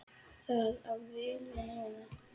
Það á vel við núna.